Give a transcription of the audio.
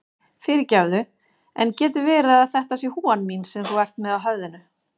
Fyrirgefðu, en getur verið að þetta sé húfan mín sem þú ert með á höfðinu?